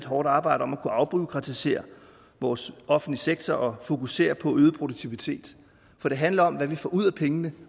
hårdt arbejde om at kunne afbureaukratisere vores offentlige sektor og fokusere på øget produktivitet for det handler om hvad vi får ud af pengene